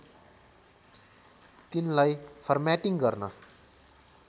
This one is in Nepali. तिनलाई फर्म्याटिङ गर्न